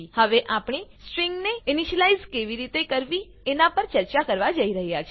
હવે આપણે સ્ટ્રિંગ ને ઇનીશલાઈઝ કેવી રીતે કરવી એનાં પર ચર્ચા કરવા જઈ રહ્યા છીએ